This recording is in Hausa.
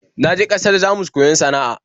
Na je ƙasar Jamus koyon sana'a